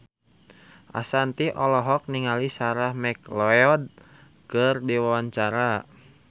Ashanti olohok ningali Sarah McLeod keur diwawancara